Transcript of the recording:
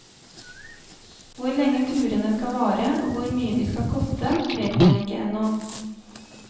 Hvor lenge turene skal vare og hvor mye de skal koste, vet man ikke ennå.